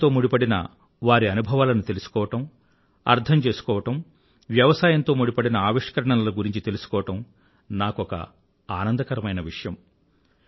వ్యవసాయంతో ముడిపడిన వారి అనుభవాలను తెలుసుకోవడం అర్థం చేసుకోవడం వ్యవసాయంతో ముడిపడిన ఆవిష్కరణల గురించి తెలుసుకోవడం నాకొక ఆనందకరమైన విషయం